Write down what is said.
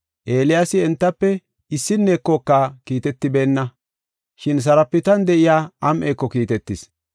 Eeliyaasi entafe issinnekoka kiitetibeenna. Shin Saraptan de7iya am7eeko kiitetis.